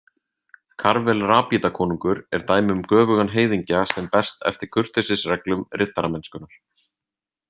Karvel Rabítakonungur er dæmi um göfugan heiðingja sem berst eftir kurteisisreglum riddaramennskunnar.